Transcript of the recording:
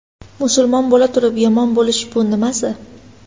Musulmon bo‘la turib yomon bo‘lish bu nimasi?